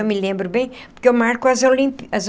Eu me lembro bem, porque eu marco as Olimpí as